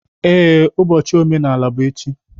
Ee, ụbọchị omenala bụ echi.